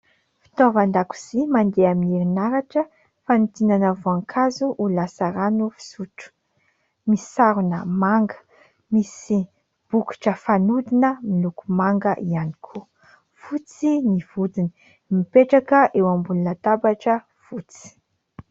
Fitaovan-dakozia mandeha amin'ny herinaratra fanodinana voankazo ho lasa rano fisotro, misy sarona manga misy bokotra fanodina miloko manga ihany koa, fotsy ny vodiny, mipetraka eo ambony latabatra fotsy.